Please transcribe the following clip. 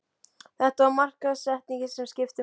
Það var markaðssetningin sem skipti máli.